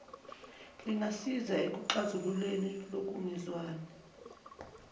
lingasiza ekuxazululeni kokungezwani